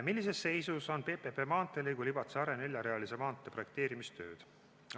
Millises seisu on esimese PPP maanteelõigu, Libatse–Are neljarealise maantee projekteerimistööd?